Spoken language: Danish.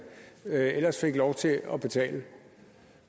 ellers fik lov til at betale